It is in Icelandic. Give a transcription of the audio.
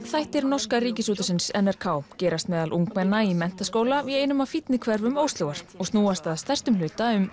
þættir norska Ríkisútvarpsins n r k gerast meðal ungmenna í menntaskóla í einum af fínni hverfum Óslóar og snúast að stærstum hluta um